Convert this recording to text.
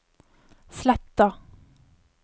Sletta